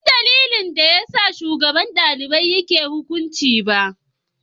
Ban san dalilin da ya sa shugaban dalibai yake yin hukunci ba.